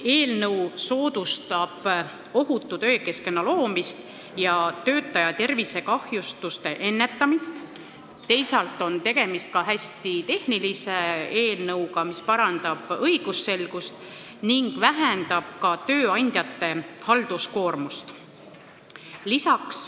Eelnõu soodustab ohutu töökeskkonna loomist ja töötaja tervisekahjustuste ennetamist, teisalt on tegemist hästi tehnilise eelnõuga, mis parandab õigusselgust ning vähendab ka tööandjate halduskoormust.